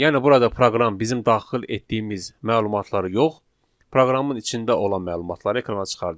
Yəni burada proqram bizim daxil etdiyimiz məlumatları yox, proqramın içində olan məlumatları ekrana çıxardır.